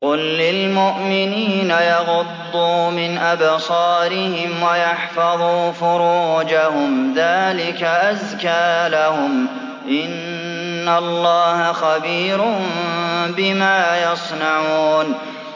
قُل لِّلْمُؤْمِنِينَ يَغُضُّوا مِنْ أَبْصَارِهِمْ وَيَحْفَظُوا فُرُوجَهُمْ ۚ ذَٰلِكَ أَزْكَىٰ لَهُمْ ۗ إِنَّ اللَّهَ خَبِيرٌ بِمَا يَصْنَعُونَ